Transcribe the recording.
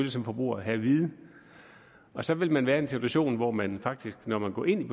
som forbruger have at vide så vil man være en situation hvor man faktisk når man går ind